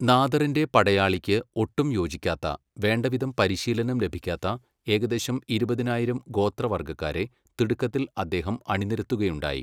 നാദറിന്റെ പടയാളിക്ക് ഒട്ടും യോജിക്കാത്ത, വേണ്ടവിധം പരിശീലനം ലഭിക്കാത്ത ഏകദേശം ഇരുപതിനായിരം ഗോത്ര വർഗ്ഗക്കാരെ, തിടുക്കത്തിൽ അദ്ദേഹം അണിനിരത്തുകയുണ്ടായി.